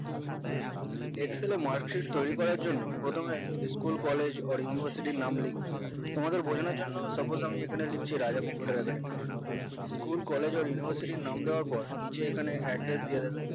excel এ marksheet তৈরী করার জন্য প্রথমে school college ওর university নাম লিখবে তোমাদের বোঝানোর suppose আমি এখানে লিখছি রাজা computer academyschool college আর university নাম দেওয়ার পর নিচে ওখানে address দেওয়া যাবে